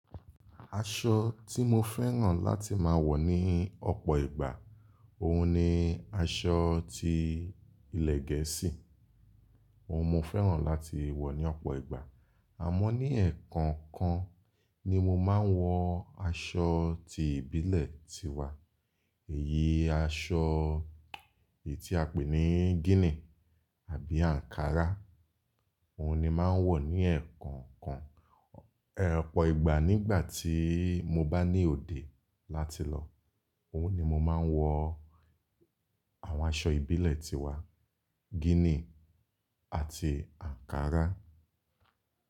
Aṣọ tí mo fẹ́ràn láti máa wọ̀ ní ọ̀pọ̀ ìgbà, òun ni aṣọ tí ilẹ̀ gẹ̀ẹ́sì. Òun mo fẹ́ràn láti wọ̀ ní ọ̀pọ̀ ìgbà. Àmọ́ ní ẹ̀ẹ̀kọ̀ọ̀kan, ni mo máa ń wọ aṣọ tí ìbílẹ̀ ti wa. Èyí aṣọ tí a pè ní gínì àbí ankara. Òun ni mo máa ń wọ̀ ní ẹ̀ẹ̀kọ̀ọ̀kan, ọ̀pọ̀ ìgbà nígbàtí mo bá ní òde, tí bá ń ti ń lọ, òun ni mo má ń wọ àwọn aṣọ ìbílẹ̀ ti wa: gínì àti Ankara.